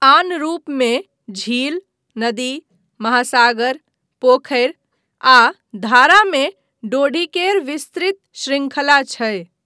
आन रूपमे झील, नदी, महासागर, पोखरि आ धारा मे डोङीकेर विस्तृत शृंखला छै।